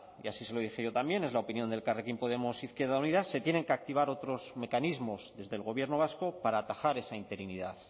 y así se lo dije yo también es la opinión de elkarrekin podemos izquierda unida se tienen que activar otros mecanismos desde el gobierno vasco para atajar esa interinidad